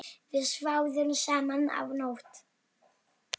Við sváfum saman þá nótt.